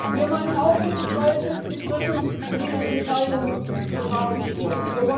Wir meinen auch, dass es falsch ist, die Briten für diese Entscheidung bestrafen zu wollen.